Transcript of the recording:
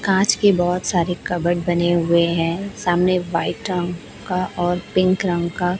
कांच के बहोत सारी कप्बोर्ड बने हुए है सामने वाइट रंग का और पिंक रंग का --